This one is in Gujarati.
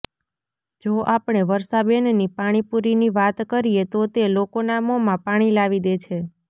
જો આપણે વર્ષાબેનની પાણી પૂરીની વાત કરીએ તો તે લોકોના મોમાં પાણી લાવી દે છે